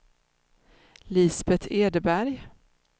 Lisbet Edberg